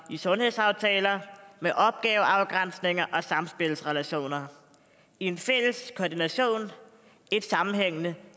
i sundhedsaftaler med opgaveafgrænsninger og samspilsrelationer i en fælles koordination og et sammenhængende